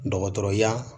Dɔgɔtɔrɔya